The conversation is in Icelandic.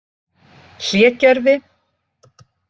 Hlégerði